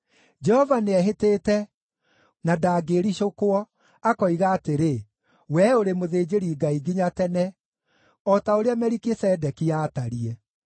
Jehova nĩehĩtĩte na ndangĩĩricũkwo, akoiga atĩrĩ: “Wee ũrĩ mũthĩnjĩri-Ngai nginya tene, o ta ũrĩa Melikisedeki aatariĩ.”